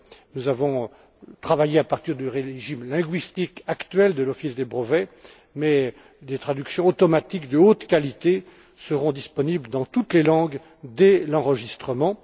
Nous avons travaillé à partir du régime linguistique actuel de l'Office européen des brevets mais des traductions automatiques de haute qualité seront disponibles dans toutes les langues, dès l'enregistrement.